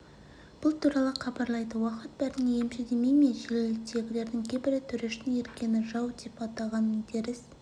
бұл туралы хабарлайды уақыт бәріне емші демей ме желідегілердің кейбірі төрештің еркені жау деп атағанын теріс